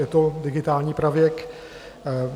Je to digitální pravěk.